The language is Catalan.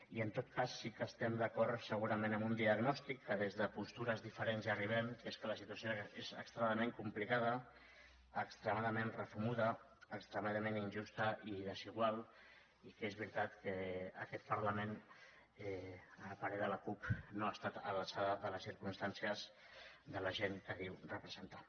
i en tot cas sí que estem d’acord segurament amb un diagnòstic que des de postures diferents hi arribem que és que la situació és extraordinàriament complicada extremadament refumuda extremadament injusta i desigual i que és veritat que aquest parlament a parer de la cup no ha estat a l’alçada de les circumstàncies de la gent que diu representar